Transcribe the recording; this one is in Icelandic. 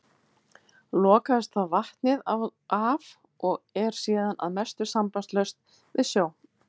Lokaðist þá vatnið af og er síðan að mestu sambandslaust við sjó.